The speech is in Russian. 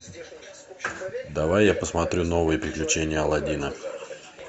давай я посмотрю новые приключения алладина